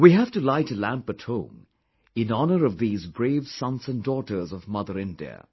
We have to light a lamp at home in honour of these brave sons and daughters of Mother India